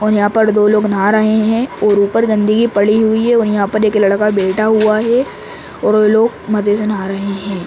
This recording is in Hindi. और यहाँ पर दो लोग नहा रहे हैं और ऊपर गन्दगी पड़ी हुई है और यहाँ पे एक लड़का बैठा हुआ है और व लोग मजे से नहा रहे हैं ।